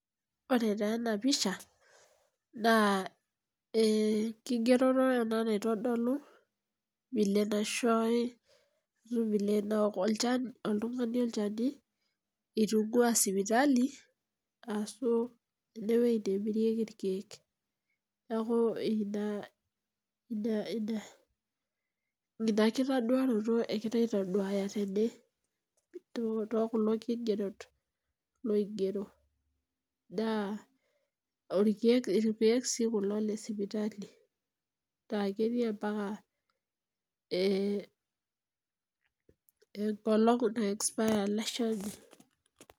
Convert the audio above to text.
Ore taa enapisha, naa enkigeroto ena naitodolu, vile naishoori, vile naok olchani oltung'ani olchani itung'ua sipitali, asu enewueji nemirieki irkeek. Neeku ina, ina kitaduaroto ekirai aitoduaya tene tokulo kigerot loigero, naa irkeek si kulo lesipitali, na ketii ampaka enkolong' nai expire ele shani.